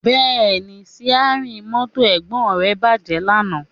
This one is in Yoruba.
Bẹ́ẹ̀ni, síárìn mọ́tò Ẹ̀gbọ́n rẹ bàjẹ́ lánàá